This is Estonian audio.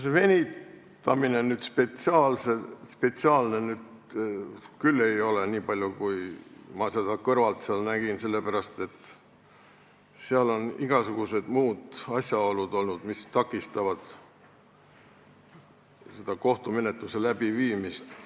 See venitamine nüüd spetsiaalne küll ei ole, niipalju kui ma seda kõrvalt olen näinud, sest seal on olnud igasugused muud asjaolud, mis takistavad kohtumenetluse läbiviimist.